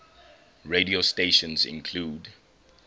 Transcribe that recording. radio stations include